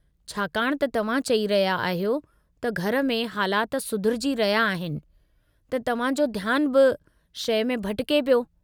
छाकाणि त तव्हां चई रहिया आहियो त घर में हालाति सुधरिजी रहिया आहिनि, त तव्हां जो ध्यानु ॿी शइ में भिटिके पियो।